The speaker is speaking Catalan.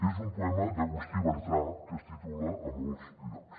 és un poema d’agustí bartra que es titula a molts llocs